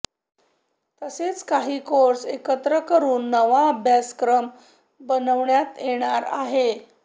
तसेच काही कोर्स एकत्र करून नवा अभ्यासक्रम बनवण्यात येणार आहे